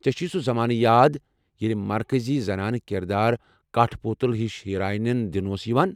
ژےٚ چھُیہ سُہ زمانہٕ یاد ییٚلہ مرکزی زنانہٕ كِردار كاٹھہٕ پوتُل ہِش ہیرانٮ۪ن دنہٕ اوس یوان؟